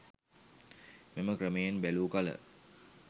මෙම ක්‍රමයෙන් බැලූ කළ